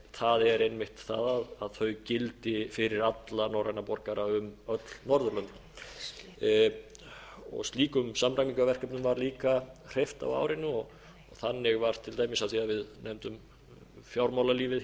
það er einmitt það að þau gildi fyrir alla norræna borgara um öll norðurlönd slíkum samræmingarverkefnum var líka hreyft á árinu og þannig var til dæmis af því að við nefndum fjármálalífið hér